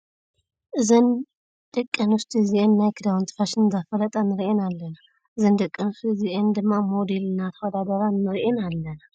እዘን ደቂ ኣነስትዮ እዚአን ናይ ክዳውንቲ ፋሽን እንዳፋለጣ ንርኢን ኣለና ። እዘን ደቂ ኣነስትዮ እዚአን ድማ ሞዴል እንዳተዋዳደራ ንሪአን አለና።